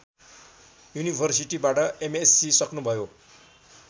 युनिभर्सिटीबाट MSc सक्नुभयो